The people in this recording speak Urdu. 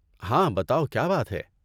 ہاں، بتاؤ کیا بات ہے؟